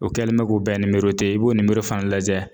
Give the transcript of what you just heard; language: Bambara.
O kɛlen mɛ k'o bɛɛ ni i b'o ni fana lajɛ.